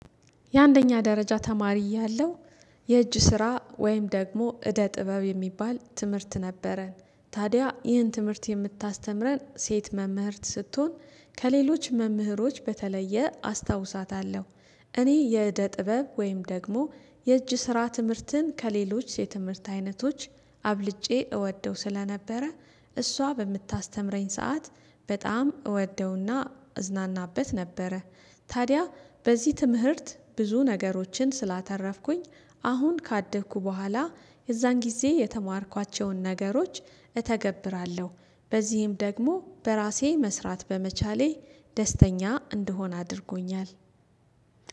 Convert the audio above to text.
የአንደኛ ደረጃ ተማሪ ያለሁ የእጅ ስራ ወይም ደግሞ እደ ጥበብ የሚባል ትምህርት ነበረን ታዲያ ይህን ትምህርት የምታስተምረን ሴት መምህርት ስትሆን ከሌሎች መምህሮች በተለየ አስታውሳታለሁ። እኔ የዕደ ጥበብ ወይም ደግሞ የእጅ ስራ ትምህርትን ከሌሎች የትምህርት አይነቶች አብልጬ እወደው ስለነበረ እሷ በምታስተምረኝ ሰዓት በጣም እወደውና እዝናናበት ነበረ። ታዲያ በዚህ ትምህርት ብዙ ነገሮችን ስላተረፍኩኝ አሁን ካደግኩ በኋላ የዛን ጊዜ የተማርኳቸውን ነገሮች እተገብራለሁ። በዚህም ደግሞ በራሴ መስራት በመቻሌ ደስተኛ እንድሆን አድርጎኛል።